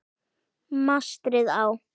Mastrið á